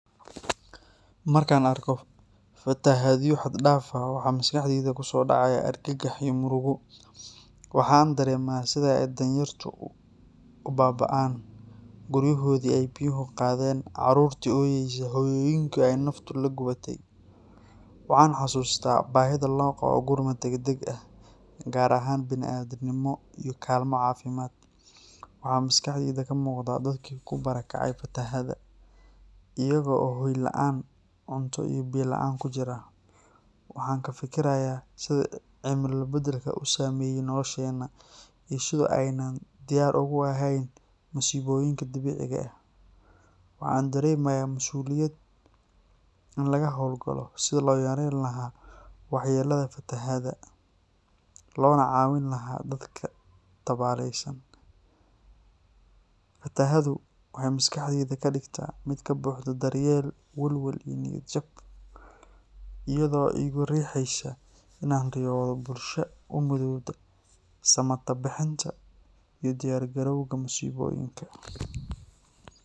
Markaan arko fatahaado xad-dhaaf ah, waxa maskaxdayda ku soo dhacaya argagax iyo murugo. Waxa aan dareemayaa sida ay danyartu u baaba’ayaan, guryahoodii ay biyuhu qaadeen, carruurtii ooyaysa, hooyooyinkii ay naftu la gubatay. Waxa aan xasuustaa baahida loo qabo gurmad degdeg ah, gargaar bini’aadannimo, iyo kaalmo caafimaad. Waxa maskaxdayda ka muuqda dadkii ku barakacay fatahaadda, iyaga oo hoy la’aan ah, cunto iyo biyo la’aan ku jira. Waxa aan ka fikirayaa sida cimilo beddelka u saameeyay nolosheenna, iyo sida aynaan diyaar ugu ahayn masiibooyinka dabiiciga ah. Waxa aan dareemayaa mas’uuliyad in laga hawlgalo sidii loo yareyn lahaa waxyeellada fatahaadaha, loona caawin lahaa dadka tabaaleysan. Fatahaaddu waxay maskaxdayda ka dhigtaa mid ka buuxda daryeel, welwel, iyo niyad jab, iyadoo igu riixaysa in aan riyoodo bulsho u midoobta samatabbixinta iyo u diyaargarowga masiibooyinka.